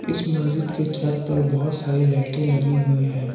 इस मस्जिद के छत पर बहुत सारी लाइटें लगी हुई है।